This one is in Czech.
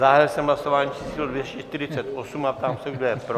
Zahájil jsem hlasování číslo 248 a ptám se, kdo je pro?